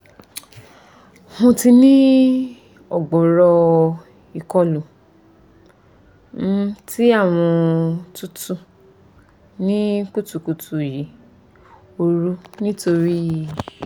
mo ti ni o gbooro ikolu um ti awọn tutu ni kutukutu yi ooru nitori